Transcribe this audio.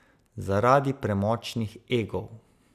Zaradi premočnih egov.